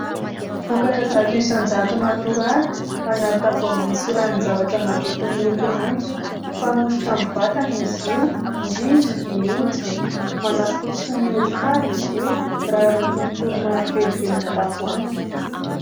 Vokatra zato isan-jato natoraly anaty tavoahangy misy ranon-javatra madity miloko maitso, fanosotra amin'ny vatana izy io indrindra ny hoditra, manafotsy ny hodi-tava izy io raha araky ny toro-marika eo ivelan'ny tavoahangy.